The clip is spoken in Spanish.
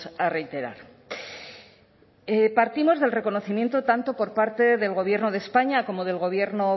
a reiterar partimos del reconocimiento tanto por parte del gobierno de españa como del gobierno